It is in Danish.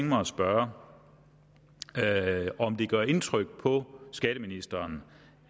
mig at spørge om det gør indtryk på skatteministeren